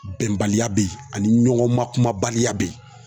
Bɛnbaliya bɛ ye ani ɲɔgɔn makumabaliya bɛ ye.